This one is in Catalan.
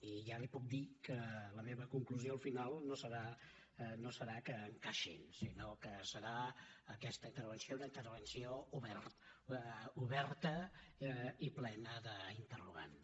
i ja li puc dir que la meva conclusió al final no serà que encaixin sinó que serà aquesta intervenció una intervenció oberta i plena d’interrogants